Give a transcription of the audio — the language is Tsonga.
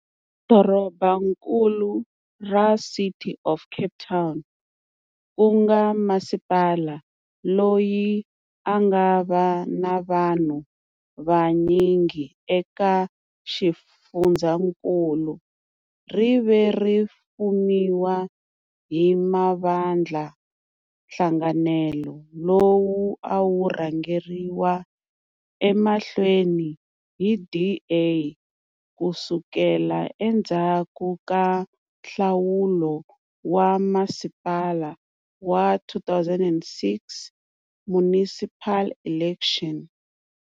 Dorobankulu ra City of Cape Town, ku nga masipala loyi a nga va na vanhu vanyingi eka xifundzhankulu, ri ve ri fumiwa hi mavandlanhlanganelo, lowu a wu rhangeriwa emahlweni hi DA ku sukela endzhaku ka nhlawulo wa vamasipala wa 2006 municipal elections.